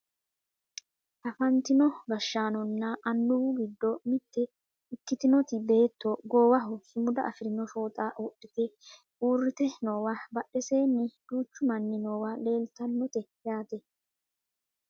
Afantino gashshaanonna annuwu giddo mitte ikkitinoti beetto goowaho sumuda afirino fooxa wodhite uurrite noowa badheseenni duuchu manni noowa leeltannote yaate